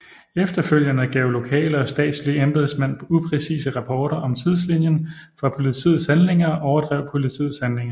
Efterfølgende gav lokale og statslige embedsmænd upræcise rapporter om tidslinjen for politiets handlinger og overdrev politiets handlinger